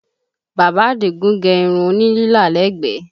Bàbá Àdìgún gẹ irun òní lílà lẹ́gbẹ̀ẹ́